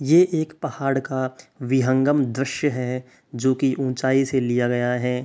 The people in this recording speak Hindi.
ये एक पहाड़ का विहंगम द्रश्य है जोकि ऊंचाई से लिया गया है।